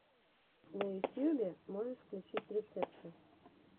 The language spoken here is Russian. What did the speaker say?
на ютьюбе можешь включить рецепты